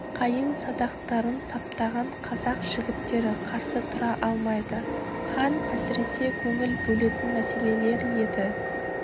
қайың садақтарын саптаған қазақ жігіттері қарсы тұра алмайды хан әсіресе көңіл бөлетін мәселелер еді